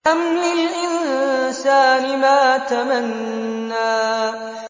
أَمْ لِلْإِنسَانِ مَا تَمَنَّىٰ